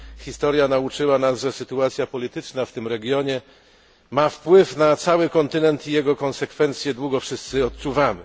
Historia nauczyła nas, że sytuacja polityczna w tym regionie ma wpływ na cały kontynent i jego konsekwencje długo wszyscy odczuwamy.